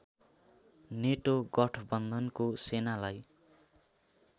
नेटो गठबन्धनको सेनालाई